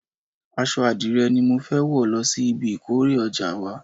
Aṣọ adire ni mo fẹ́ wò lọ sí ibi ìkórè ìjọ wa.